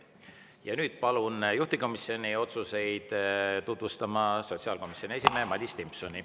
Ja nüüd palun juhtivkomisjoni otsuseid tutvustama sotsiaalkomisjoni esimehe Madis Timpsoni.